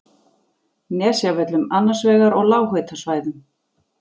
Nesjavöllum annars vegar og lághitasvæðum